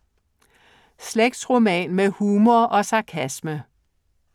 Slægtsroman med humor og sarkasme